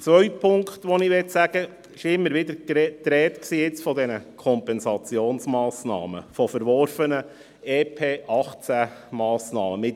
Ein dritter Punkt: Es war immer wieder von diesen Kompensationsmassnahmen die Rede, von verworfenen Massnahmen des Entlastungspakets 2018 (EP 2018).